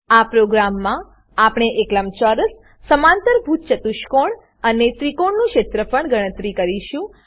આ પ્રોગ્રામમાં આપણે એક લંબચોરસ સમાંતરભુજ ચતુષ્કોણ અને ત્રિકોણનું ક્ષેત્રફળ ગણતરી કરીશું